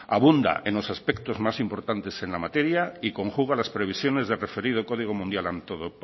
abunda en los aspectos más importantes en la materia y conjuga las previsiones del referido código mundial